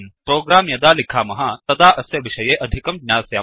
program यदा लिखामः तदा अस्य विषये अधिकं ज्ञास्यामः